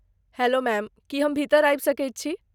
Hello ma'am, की हम भीतर आबि सकैत छी?